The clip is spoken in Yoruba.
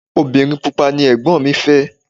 Obìnrin pupa ni Ẹ̀gbọ́n mi fẹ́.